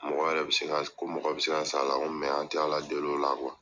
Mɔgɔ yɛrɛ bi se ka, ko mɔgɔ yɛrɛ bi se ka sa a la. Ko an ti ala deli o la